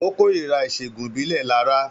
Ó kórìíra ìṣègùn ìbílẹ̀ Laraa